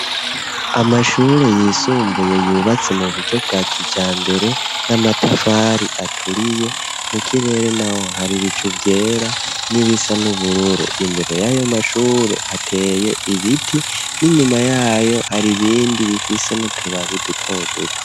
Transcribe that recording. Amashure yisumbuye yubatse mu buryo bwa kijambere n'amatafari aturiye mu kirere naho hari bicu vyera n'ibisa n'ubururu imbere y'ayo mashure hateye ibiti n'inyuma yayo hari ibindi bifise n'utubabi duto duto.